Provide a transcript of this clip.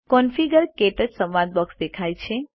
configure - ક્ટચ સંવાદ box દેખાય છે